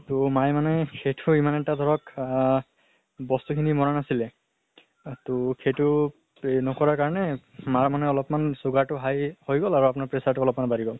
তো মায়ে মানে সেইটো এমান এটা ধৰক অহ বস্তু খিনি মনা নাছিলে। ত সেইটো নকৰা কাৰণে মাৰ মানে অলপ্মান sugar টো high হৈ গল আৰু আপোনাৰ pressure টো অলপ্মান বাঢ়ি হল।